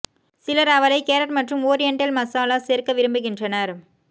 சிலர் அவளை கேரட் மற்றும் ஓரியண்டல் மசாலா சேர்க்க விரும்புகின்றனர்